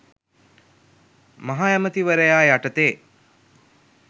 මහ ඇමති වරයා යටතේ